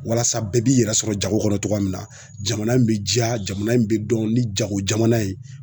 Walasa bɛɛ b'i yɛrɛ sɔrɔ jago kɔnɔ cogoya min na jamana in be jiya jamana in be dɔn ni jago jamana ye